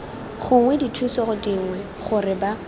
gongwe dithuso dingwe gore ba